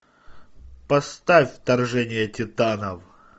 поставь вторжение титанов